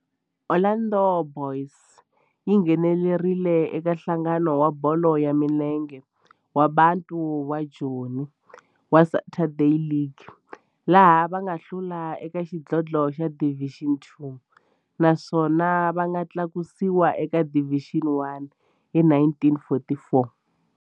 Orlando Boys yi nghenelerile eka Nhlangano wa Bolo ya Milenge wa Bantu wa Joni wa Saturday League, laha va nga hlula eka xidlodlo xa Division Two naswona va nga tlakusiwa eka Division One hi 1944.